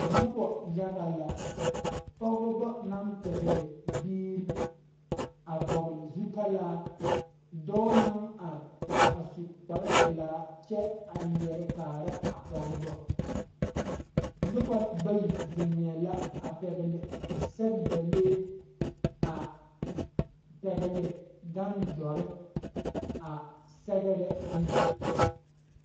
Nobɔ yaga la pɔgebɔ naŋ pɛgle biire a vɔgle zutalaa dɔɔ naŋ are a su kparepilaa kyɛ a lierɛ kaara a pɔgebɔ nobɔ bayi zeŋɛɛ la a pɛgle sɛgdalee a pɛgle gan dɔre a sɛgrɛ ne.